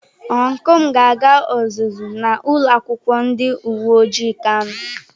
Ọncụl m ga-aga ọzụzụ na ulo akwukwo ndi uwe ojii kano.